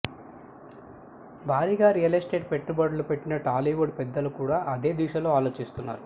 భారీగా real estate పెట్టుబడులు పెట్టిన టాలీవుడ్ పెద్దలు కూడా అదే దిశలో ఆలోచిస్తున్నారు